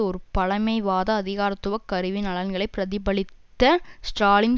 ஒரு பழமைவாத அதிகாரத்துவ கருவியின் நலன்களை பிரதிபலித்த ஸ்ராலின்